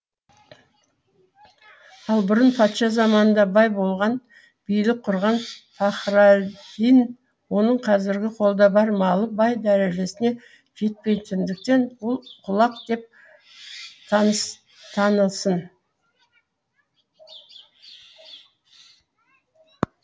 ол бұрын патша заманында бай болған билік құрған пахраддин оның қазіргі қолда бар малы бай дәрежесіне жетпейтіндіктен ол құлақ деп танылсын